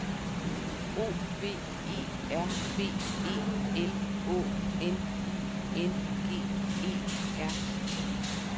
O V E R B E L Å N I N G E R